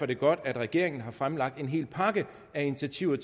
det godt at regeringen har fremlagt en hel pakke af initiativer